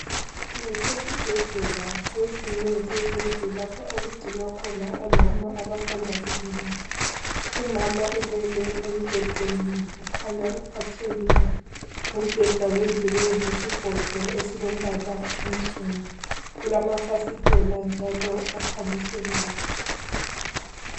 Kusesibhedlela kwezinye zezindlu ,lapha okugcinwa khona omama abasanda kubeletha .Umama ulele embhedeni ukhanya uphathekile .umbheda wenziwe ngesigodo esilombala onsundu. Kulamafasithela njalo akhanyiselayo .